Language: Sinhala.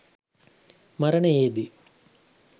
මරණයේදී